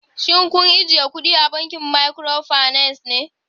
Shin kun ajiye kudi a bankunan microfinance?